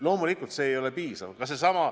Loomulikult see ei ole piisav.